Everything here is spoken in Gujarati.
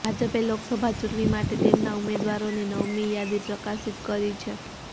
ભાજપે લોકસભા ચૂંટણી માટે તેમના ઉમેદવારોની નવમી યાદી પ્રકાશિત કરી છે